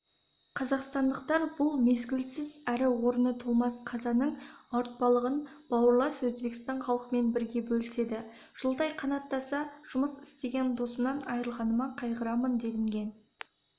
қазақстандықтар бұл мезгілсіз әрі орны толмас қазаның ауыртпалығын бауырлас өзбекстан халқымен бірге бөліседі жылдай қанаттаса жұмыс істеген досымнан айрылғаныма қайғырамын делінген